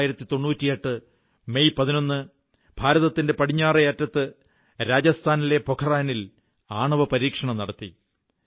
1998 May 11 ഭാരതത്തിന്റെ പടിഞ്ഞാറേ അറ്റത്ത് രാജസ്ഥാനിലെ പോഖ്റാനിൽ ആണവപരീക്ഷണം നടത്തി